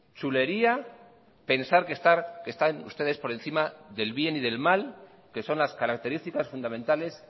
chulería pensar que están ustedes por encima del bien y del mal que son las características fundamentales